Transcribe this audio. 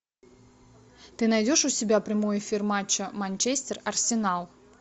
ты найдешь у себя прямой эфир матча манчестер арсенал